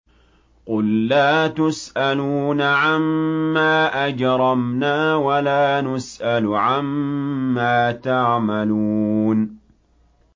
قُل لَّا تُسْأَلُونَ عَمَّا أَجْرَمْنَا وَلَا نُسْأَلُ عَمَّا تَعْمَلُونَ